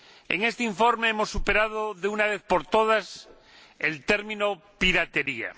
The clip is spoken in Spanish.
En este informe hemos superado, de una vez por todas, el término piratería.